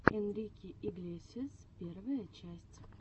энрике иглесиас первая часть